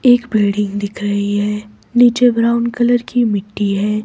एक बिल्डिंग दिख रही है नीचे ब्राउन कलर की मिट्टी है।